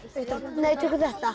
nei tökum þetta